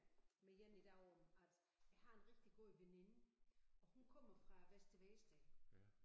med en i dag om at jeg har en rigtig god veninde og hun kommer fra Vester Vedsted